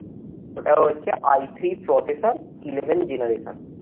ওটা হচ্ছে processor eleven generator